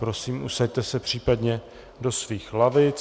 Prosím, usaďte se případně do svých lavic.